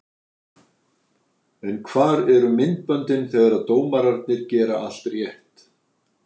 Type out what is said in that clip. En hvar eru myndböndin þegar dómararnir gera allt rétt?